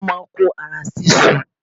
Wọ́n má a n kó ara sísú